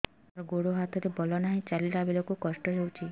ସାର ଗୋଡୋ ହାତରେ ବଳ ନାହିଁ ଚାଲିଲା ବେଳକୁ କଷ୍ଟ ହେଉଛି